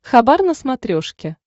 хабар на смотрешке